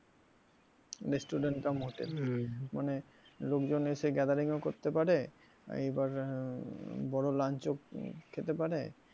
Restaurant cum hotel মানে লোকজন এসে gathering ও করতে পারে এইবার বড় ও lunch ও খেতে পারে।